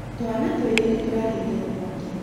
Twana twĩrĩ nĩtũrahiire nĩ mwaki